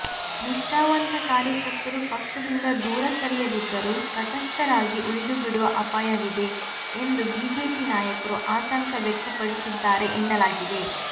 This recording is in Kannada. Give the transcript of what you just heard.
ನಿಷ್ಠಾವಂತ ಕಾರ್ಯಕರ್ತರು ಪಕ್ಷದಿಂದ ದೂರ ಸರಿಯದಿದ್ದರೂ ತಟಸ್ಥರಾಗಿ ಉಳಿದುಬಿಡುವ ಅಪಾಯವಿದೆ ಎಂದು ಬಿಜೆಪಿ ನಾಯಕರು ಆತಂಕ ವ್ಯಕ್ತಪಡಿಸಿದ್ದಾರೆ ಎನ್ನಲಾಗಿದೆ